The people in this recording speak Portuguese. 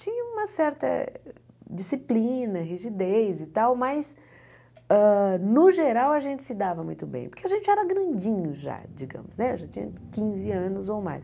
Tinha uma certa disciplina, rigidez e tal, mas, no geral, a gente se dava muito bem, porque a gente era grandinho já, digamos, já tinha quinze anos ou mais.